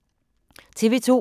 TV 2